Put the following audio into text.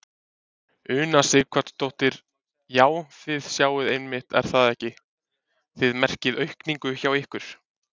Una Sighvatsdóttir: Já, þið sjáið einmitt er það ekki, þið merkið aukningu hjá ykkur?